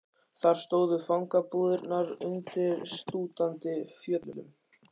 Þar stóðu fangabúðirnar undir slútandi fjöllum.